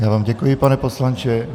Já vám děkuji, pane poslanče.